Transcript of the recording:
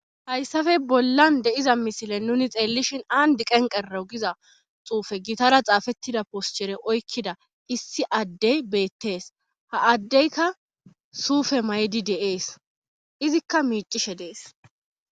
hayssafe bollan de'iza misile nuni xeellishin andi qeni qeraw giza xuufe gitara xaafettida poschere oykkida issi addey beettees. ha addeyka suufe maydi deees. izikka miicishe dees.